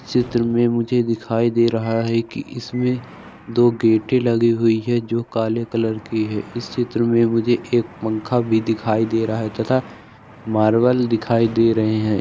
चित्र में मुझे दिखाई दे रहा है कि इसमें दो गेटे लगी हुई है जो काले कलर की है इस चित्र में मुझे एक पंखा भी दिखाई दे रहा है तथा मार्बल दिखाई दे रहे हैं।